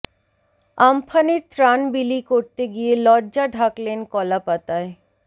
আম্ফানের ত্রাণ বিলি করতে গিয়ে লজ্জা ঢাকলেন কলা পাতায়